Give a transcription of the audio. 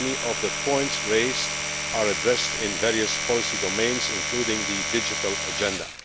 Many of the points raised are addressed in various policy domains, including the digital agenda.